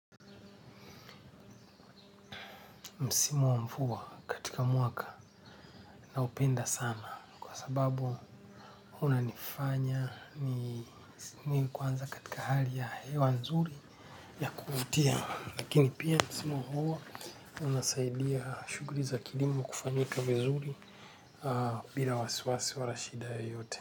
Msimu wa mvua katika mwaka naupenda sana kwa sababu unanifanya ni kwanza katika hali ya hewa nzuri ya kuvutia. Lakini pia msimu huo unasaidia shughuli za kilimo kufanyika vizuri bila wasiwasi walashida yote.